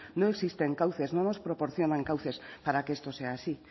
no existen cauces no nos proporcionan cauces para que esto sea así